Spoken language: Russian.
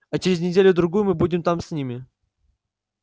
а через неделю-другую мы будем там с ними